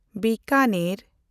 Bikaner